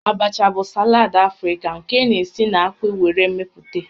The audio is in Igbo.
Abacha bụ salad Afrịka nke a na-esi na akpu were meputa